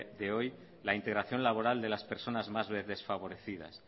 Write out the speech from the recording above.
de hoy la integración laboral de las personas más desfavorecidas